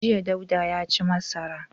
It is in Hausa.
Jiya Dauda ya ci masara.